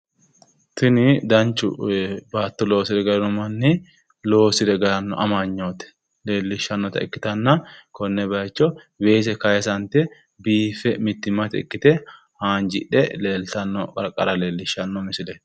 Tini danchu baatto loosire galino manni, loosire galanno amanyoote leellishshannota ikkitanna konne baayiicho weese kaayiisante mittimmate ikkite haanjidhe leeltanno qarqara leellishshanno misileeti.